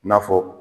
N'a fɔ